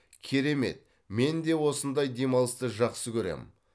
керемет менде осындай демалысты жақсы көремін